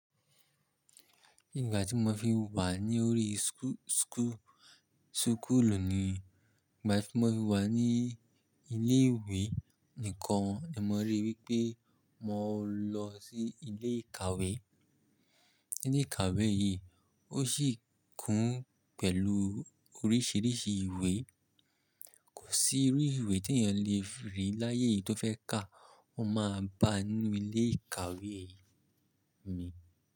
Ìgbà tí mo fi wà ní orí school súkùlù ni ìgbà tí mo fi wà ní ilé ìwé nìkan ni mo rí wípé mo lọ sí ilé ìkàwé. Ilé ìkàwé yìí ó sì kún pẹ̀lú oríṣìíríṣìí ìwé. Kò sí irú ìwé tí èèyàn le rí láyé yìí tó fẹ́ kà á, o máa bá a nínú ilé ìkàwé mi.